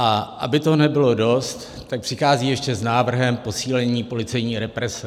A aby toho nebylo dost, tak přichází ještě s návrhem posílení policejní represe.